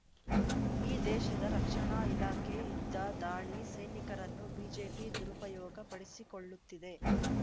ಈ ದೇಶದ ರಕ್ಷಣಾ ಇಲಾಖೆ ಯುದ್ಧ ದಾಳಿ ಸೈನಿಕರನ್ನು ಬಿಜೆಪಿ ದುರುಪಯೋಗ ಪಡಿಸಿಕೊಳ್ಳುತ್ತಿದೆ